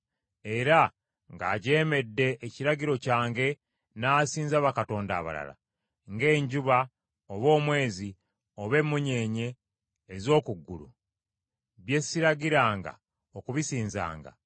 era ng’ajeemedde ekiragiro kyange n’asinza bakatonda abalala, ng’enjuba, oba omwezi, oba emmunyeenye ez’oku ggulu, bye siragiranga okubisinzanga,